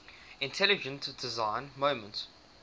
intelligent design movement